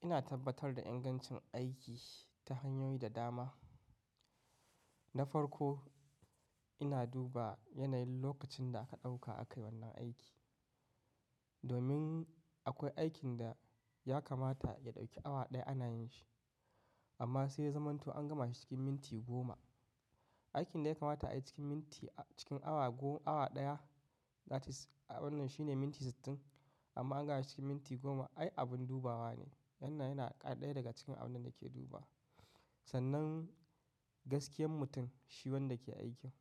Ina tabbatar da ingancin aiki ta hanyoyi da dama. Na farko ina duba yanayin lokacin da aka ɗauka a kai wannan aiki. Domin akwai aikin da ya kamata ya ɗauki awa ɗaya ana yin shi. Amma sai ya zamanto an gama shi cikin minti goma. Aikin da ya kamata a yi cikin minti cikin awa gom, awa ɗaya, that is wannan shine minti sittin, amma an gama shi cikin minti goma ai abin dubawa ne. Wannan yana, ɗaya daga cikin abin da nake dubawa. Sannan, gaskiyan mutum shi wanda ke aikin.